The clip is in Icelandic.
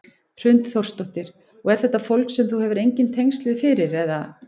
Hrund Þórsdóttir: Og er þetta fólk sem þú hefur engin tengsl við fyrir eða?